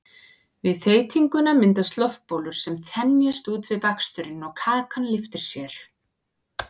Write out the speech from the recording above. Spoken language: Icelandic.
við þeytinguna myndast loftbólur sem þenjast út við bakstur og kakan lyftir sér